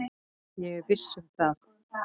Ég er viss um það.